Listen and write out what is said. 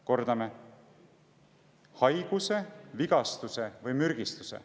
Kordame: haiguse, vigastuse või mürgistuse.